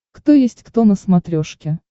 кто есть кто на смотрешке